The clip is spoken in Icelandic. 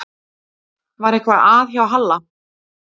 Var eitthvað að hjá Halla?